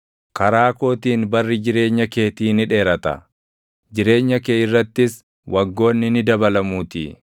Karaa kootiin barii jireenya keetii ni dheerata; jireenya kee irrattis waggoonni ni dabalamuutii.